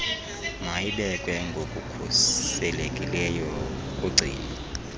mayibekwe ngokukhuselekileyo kugcino